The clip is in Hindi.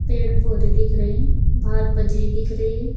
पेड़ पौधे दिख रहे हैं बाहर बजरी दिख रही है।